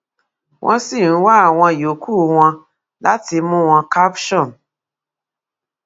wọn sì ń wá àwọn yòókù wọn láti mú wọn caption